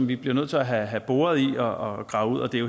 vi bliver nødt til at have boret i og gravet ud det